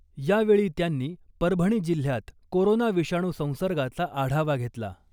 यावेळी त्यांनी परभणी जिल्ह्यात कोरोना विषाणू संसर्गाचा आढावा घेतला .